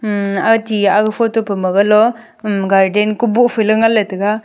un ati aga photo paw golo garden ko boh phile ngan taiga.